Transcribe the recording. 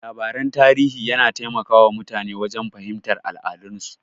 Labaran tarihi yana taimaka wa mutane wajen fahimtar al'adun su.